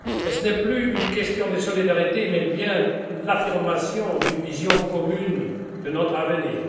Ce n'est plus une question de solidarité mais bien l'affirmation d'une vision commune de notre avenir.